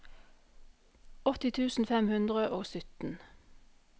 åtti tusen fem hundre og sytten